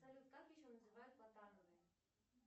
салют как еще называют